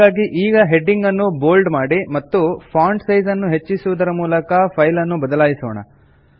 ಹಾಗಾಗಿ ಈಗ ಹೆಡಿಂಗ್ ನ್ನು ಬೋಲ್ಡ್ ಮಾಡಿ ಮತ್ತು ಫಾಂಟ್ ಸೈಜ್ ಅನ್ನು ಹೆಚ್ಚಿಸುವುದರ ಮೂಲಕ ಫೈಲನ್ನು ಬದಲಾಯಿಸೋಣ